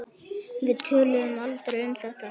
Við töluðum aldrei um þetta.